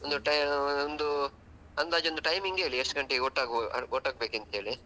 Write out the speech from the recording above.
ಒಂದು time ಅಂದಾಜ್ ಒಂದು timing ಹೇಳಿ ಎಷ್ಟು ಗಂಟೆಗೆ ಒಟ್ಟಾಗುವ ಒಟ್ಟಾಗಬೇಕಂತೇಳಿ.